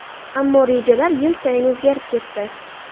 Ammo rejalar yil sayin o‘zgarib ketdi.